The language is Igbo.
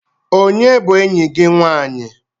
Onye bu eyi gi nwanyị?